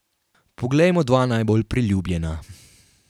Poglejmo dva najbolj priljubljena.